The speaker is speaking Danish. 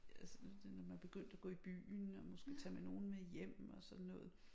Altså det når man begyndte at gå i byen og måske tage med nogen med hjem og sådan noget